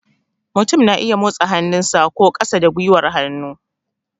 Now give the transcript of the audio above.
Mutum na iya motsa hannu sa, sa ko ƙasa da gwiwar hannu